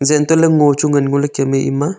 zantoley ngo chu ngan ngoley kemey ema.